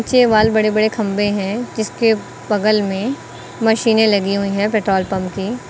के वाल बड़े बड़े खंबे हैं जिसके बगल में मशीनें लगी हुई हैं पेट्रोल पंप की।